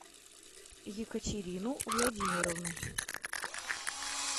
екатерину владимировну